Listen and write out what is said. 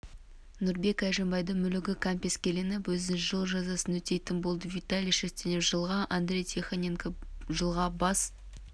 нұрбек әжімбайдың мүлігі кәмпескеленіп өзі жыл жазасын өтейтін болды виталий шерстенев жылға андрей тихоненко жылға бас